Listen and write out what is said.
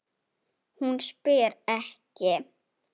Hún spyr ekki.